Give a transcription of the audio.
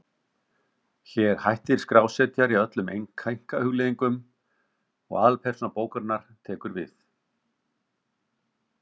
Hér hættir skrásetjari öllum einkahugleiðingum og aðalpersóna bókarinnar tekur við.